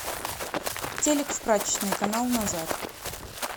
телек в прачечной канал назад